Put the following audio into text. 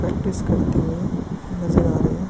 Practice करते हुए नजर आ रहे।